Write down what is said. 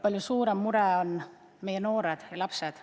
Palju suuremgi mure on meie noored ja lapsed.